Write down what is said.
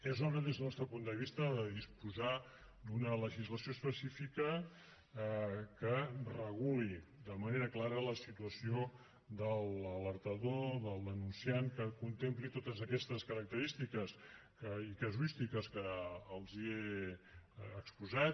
és hora des del nostre punt de vista de disposar d’una legislació específica que reguli de manera clara la situació de l’alertador del denunciant que contempli totes aquestes característiques i casuístiques que els he exposat